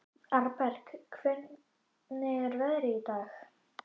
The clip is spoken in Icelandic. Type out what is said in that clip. Arnberg, hvernig er veðrið í dag?